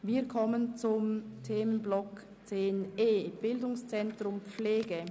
Wir kommen zum Themenblock 10.e betreffend das BZ Pflege.